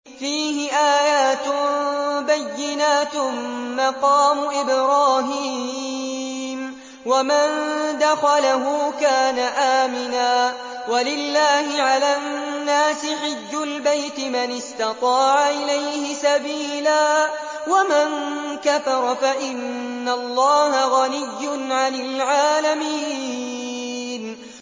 فِيهِ آيَاتٌ بَيِّنَاتٌ مَّقَامُ إِبْرَاهِيمَ ۖ وَمَن دَخَلَهُ كَانَ آمِنًا ۗ وَلِلَّهِ عَلَى النَّاسِ حِجُّ الْبَيْتِ مَنِ اسْتَطَاعَ إِلَيْهِ سَبِيلًا ۚ وَمَن كَفَرَ فَإِنَّ اللَّهَ غَنِيٌّ عَنِ الْعَالَمِينَ